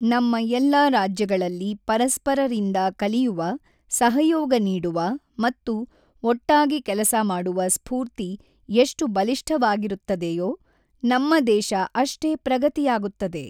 ನಮ್ಮ ಎಲ್ಲಾ ರಾಜ್ಯಗಳಲ್ಲಿ, ಪರಸ್ಪರರಿಂದ ಕಲಿಯುವ, ಸಹಯೋಗ ನೀಡುವ ಮತ್ತು ಒಟ್ಟಾಗಿ ಕೆಲಸ ಮಾಡುವ ಸ್ಫೂರ್ತಿ ಎಷ್ಟು ಬಲಿಷ್ಠವಾಗಿರುತ್ತದೆಯೋ ನಮ್ಮ ದೇಶ ಅಷ್ಟೇ ಪ್ರಗತಿಯಾಗುತ್ತದೆ.